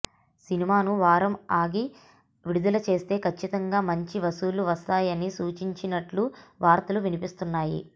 సినిమాను వారం ఆగి విడుదల చేస్తే కచ్చితంగా మంచి వసూళ్లు వస్తాయని సూచించినట్లు వార్తలు వినిపిస్తున్నాయి